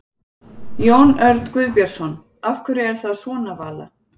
Jón Örn Guðbjartsson: Af hverju er það svona Vala?